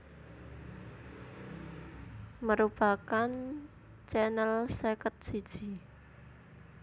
merupakan channel seket siji